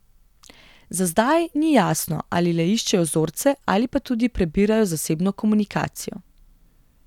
Za zdaj ni jasno, ali le iščejo vzorce ali pa tudi prebirajo zasebno komunikacijo.